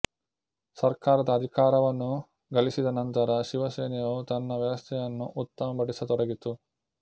ಸರ್ಕಾರದ ಅಧಿಕಾರವನ್ನು ಗಳಿಸಿದ ನಂತರ ಶಿವಸೇನೆಯು ತನ್ನ ವ್ಯವಸ್ಥೆಯನ್ನು ಉತ್ತಮಪಡಿಸತೊಡಗಿತು